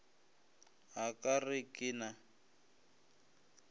a ka re ke na